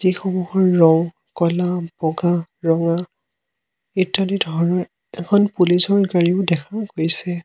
ৰং ক'লা বগা ৰঙা ইত্যাদি ধৰণৰ এখন পুলিচ ৰ গাড়ীও দেখা গৈছে।